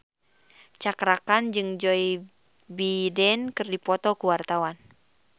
Cakra Khan jeung Joe Biden keur dipoto ku wartawan